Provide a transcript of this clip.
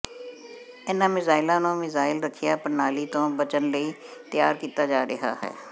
ਇਨ੍ਹਾਂ ਮਿਜ਼ਾਈਲਾਂ ਨੂੰ ਮਿਜ਼ਾਈਲ ਰੱਖਿਆ ਪ੍ਰਣਾਲੀ ਤੋਂ ਬਚਣ ਲਈ ਤਿਆਰ ਕੀਤਾ ਜਾ ਰਿਹਾ ਹੈ